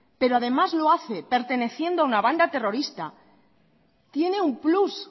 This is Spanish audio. pero además lo hace perteneciendo a una banda terrorista tiene un plus